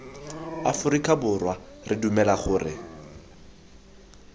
aforika borwa re dumela gore